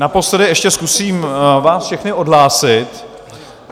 Naposledy ještě zkusím vás všechny odhlásit.